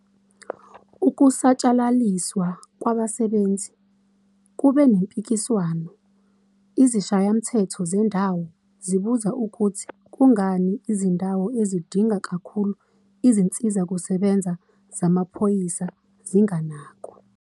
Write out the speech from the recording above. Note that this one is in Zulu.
Ukusatshalaliswa kwabasebenzi kube nempikiswano, izishayamthetho zendawo zibuza ukuthi kungani izindawo ezidinga kakhulu izinsizakusebenza zamaphoyisa zinganakwa.